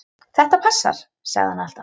Þetta passar, sagði hann alltaf.